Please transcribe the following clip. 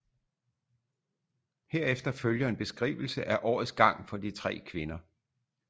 Herefter følger en beskrivelse af årets gang for de tre kvinder